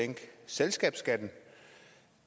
sænke selskabsskatten